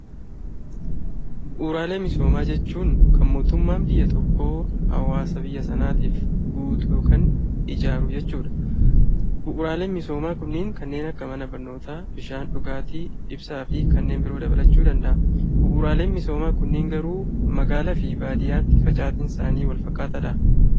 Bu'uuraalee misoomaa jechuun kan mootummaan biyya tokko hawwaasa biyya sanaatiif guutuu yookaan ijaaru jechuudha. Bu'uuraaleen misoomaa kun kanneen akka mana barnootaa, bishaan dhugaatii, ibsaa fi kanneen biroo dabalachuu danda’a. Bu'uuraaleen kisoomaa kunniin garuu magaalaa fi baadiyyaatti facaatiin isaanii wal fakkaataadhaa?